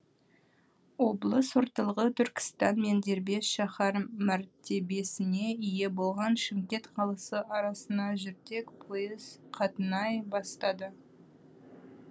облыс орталығы түркістан мен дербес шаһар мәртебесіне ие болған шымкент қаласы арасына жүрдек пойыз қатынай бастады